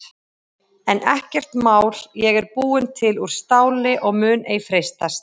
En ekkert mál ég er búin til úr STÁLI og mun ei freistast.